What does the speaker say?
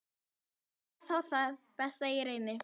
Jæja, þá það, best ég reyni.